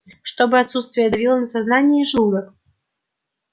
чтобы отсутствие давило на сознание и желудок